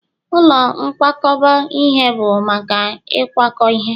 ụlọ nkwakọba ihe bụ maka ịkwakọ ihe